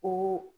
Ko